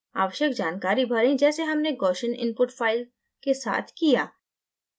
आवश्यक जानकारी भरें जैसे हमने gaussian input fill के साथ किया